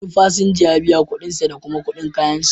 Wani fasinja ya biya kuɗin sa da kuma kuɗin kayansa.